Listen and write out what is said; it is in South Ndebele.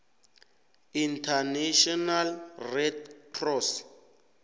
international red cross